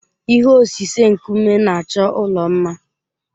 Ihe osise nkume na-achọ ụlọ mma.